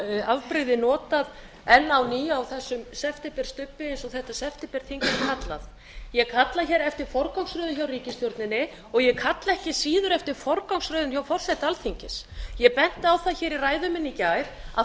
afbrigði notað enn á ný á þessum septemberstubbi eins og þetta septemberþing er kallað ég kalla hér eftir forgangsröðun hjá ríkisstjórninni og ég kalla ekki síður eftir forgangsröðun hjá forseta alþingis ég benti á það hér í ræðu minni í gær að